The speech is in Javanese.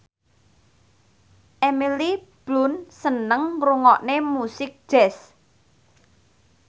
Emily Blunt seneng ngrungokne musik jazz